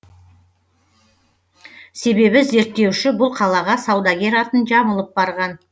себебі зерттеуші бұл қалаға саудагер атын жамылып барған